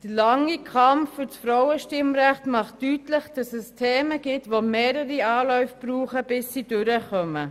Der lange Kampf für das Frauenstimmrecht macht deutlich, dass es Themen gibt, die mehrere Anläufe benötigen, bis sie sich durchsetzen.